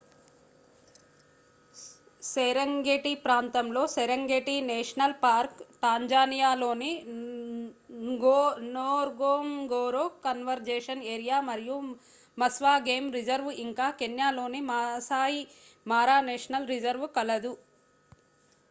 Serengeti ప్రాంతంలో Serengeti national park టాంజానియాలోని Ngorongoro conservation area మరియు మస్వా గేమ్ రిజర్వ్ ఇంకా కెన్యాలోని మాసాయి మారా నేషనల్ రిజర్వ్ కలదు